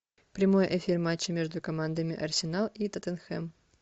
прямой эфир матча между командами арсенал и тоттенхэм